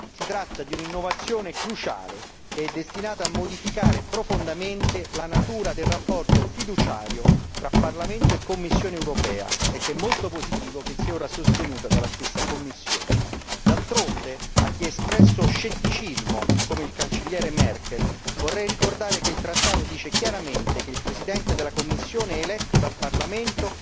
Si tratta di un'innovazione cruciale che è destinata a modificare profondamente la natura del rapporto fiduciario tra Parlamento e Commissione europea e che è molto positivo che sia ora sostenuta dalla stessa Commissione. D'altronde, a chi ha espresso scetticismo come la cancelliera Merkel, vorrei ricordare che il trattato dice chiaramente che il Presidente della Commissione è eletto dal Parlamento